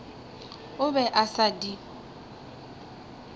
o be a sa di